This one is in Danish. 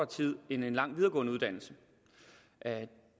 tid end en lang videregående uddannelse